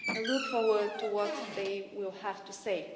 I look forward to what they will have to say.